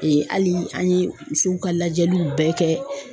hali an ye musow ka lajɛliw bɛɛ kɛ